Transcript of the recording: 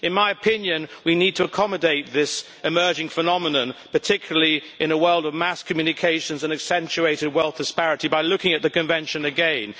In my opinion, we need to accommodate this emerging phenomenon, particularly in a world of mass communications and accentuated wealth disparity, by looking at the Convention again.